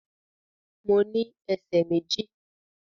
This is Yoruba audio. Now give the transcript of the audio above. Mo ní ẹsẹ̀ méjì